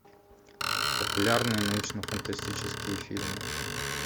популярные научно фантастические фильмы